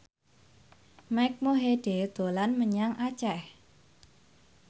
Mike Mohede dolan menyang Aceh